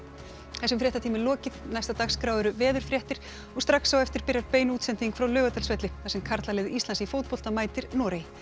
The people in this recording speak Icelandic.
þessum fréttatíma er lokið næst á dagskrá eru veðurfréttir og strax á eftir byrjar bein útsending frá Laugardalsvelli þar sem karlalið Íslands í fótbolta mætir Noregi